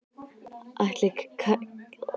Ætli kjarnorkusprengjan verði ekki komin áður.